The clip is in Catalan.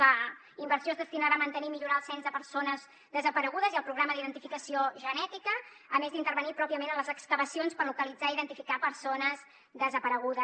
la inversió es destinarà a mantenir i millorar el cens de persones desaparegudes i al programa d’identificació genètica a més d’intervenir pròpiament en les excavacions per localitzar i identificar persones desaparegudes